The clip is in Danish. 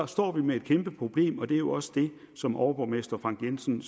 står vi med et kæmpe problem og det er jo også det som overborgmester frank jensen